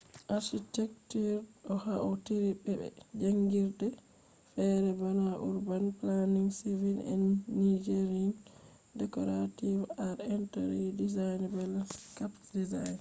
architecture ɗo hautri be be jangirdeji fere bana urban planning civil engineering decorative arts interior design be landscape design